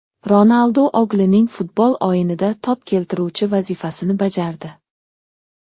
Ronaldu o‘g‘lining futbol o‘yinida to‘p keltiruvchi vazifasini bajardi .